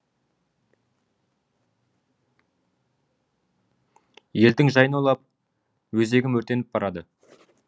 елдің жайын ойлап өзегім өртеніп барады